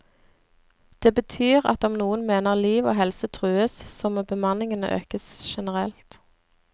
Det betyr at om noen mener liv og helse trues, så må bemanningen økes generelt.